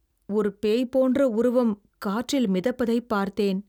ஒரு பேய் போன்ற உருவம் காற்றில் மிதப்பதைப் பார்த்தேன்.